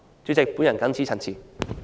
主席，我謹此陳辭。